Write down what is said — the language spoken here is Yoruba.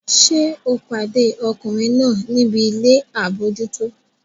Ṣé o pàdé ọkùnrin náà níbi ilé àbójútó?